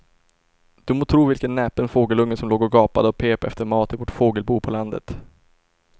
Du må tro vilken näpen fågelunge som låg och gapade och pep efter mat i vårt fågelbo på landet.